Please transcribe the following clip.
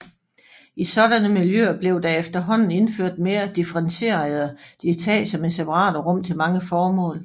I sådanne miljøer blev der efterhånden indført mere differentierede etager med separate rum til mange formål